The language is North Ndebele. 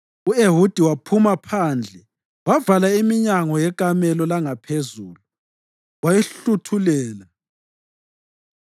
U-Ehudi waphuma phandle, wavala iminyango yekamelo langaphezulu wayihluthulela.